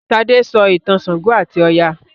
Sade sọ ìtàn ṣàngó ati Oya.